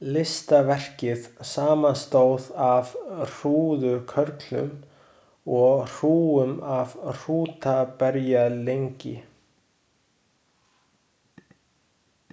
Listaverkið samanstóð af hrúðurkörlum og hrúgum af hrútaberjalyngi.